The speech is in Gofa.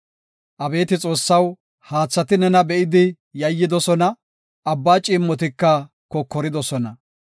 Abeeti Xoossaw, haathati nena be7idi yayyidosona; abba ciimmotika kokoridosona.